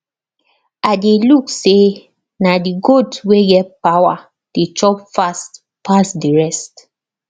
i de look say na the goat wey get power dey chop fast pass the rest